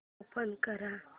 open कर